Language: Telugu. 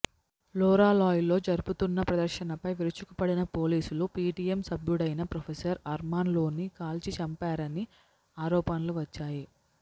లొరాలాయ్ లో జరుపుతున్న ప్రదర్శనపై విరుచుకుపడిన పోలీసులు పీటీఎం సభ్యుడైన ప్రొఫెసర్ అర్మాన్ లోనీ కాల్చి చంపారని ఆరోపణలు వచ్చాయి